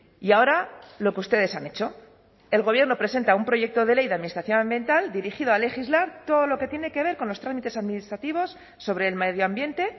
y ahora lo que ustedes han hecho el gobierno presenta un proyecto de ley de administración ambiental dirigido a legislar todo lo que tiene que ver con los trámites administrativos sobre el medio ambiente